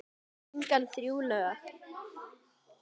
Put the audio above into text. Söng hann þrjú lög.